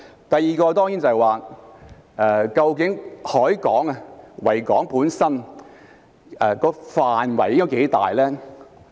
第二，究竟維多利亞港本身的範圍應該多大呢？